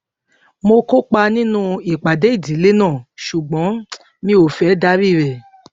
mo kópa nínú ìpàdé ìdílé náà ṣùgbọn mi ò fẹ darí rè